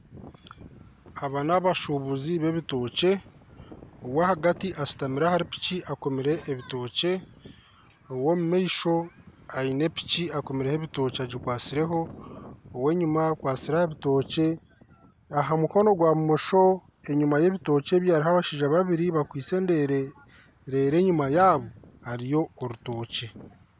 Aba n'abashuubuzi b'ebitookye, owahagati ashutamire ahari piki akomireho ebitookye ow'omumaisho aine piki ekomireho ebitookye agikwatsireho, ow'enyima akwatsire aha bitookye aha mukono gwa bumosho enyima y'ebitookye ebyo hariho abashaija babiri bakwitse endeere reero enyima yaabo hariyo orutookye